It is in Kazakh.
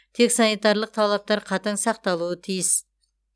тек санитарлық талаптар қатаң сақталуы тиіс